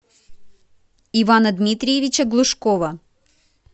ивана дмитриевича глушкова